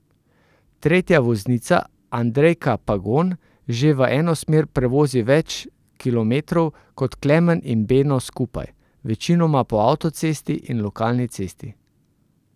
Tretja voznica Andrejka Pagon že v eno smer prevozi več kilometrov kot Klemen in Beno skupaj, večinoma po avtocesti in lokalni cesti.